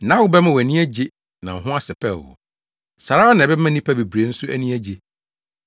Nʼawo bɛma wʼani agye na wo ho asɛpɛw wo. Saa ara na ɛbɛma nnipa bebree nso ani agye.